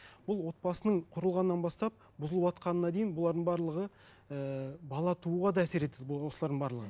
бұл отбасының құрылғаннан бастап бұзылватқанына дейін бұлардың барлығы ііі бала тууға да әсер етеді осылардың барлығы